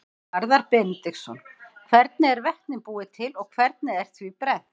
Garðar Benediktsson: Hvernig er vetni búið til og hvernig er því brennt?